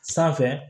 Sanfɛ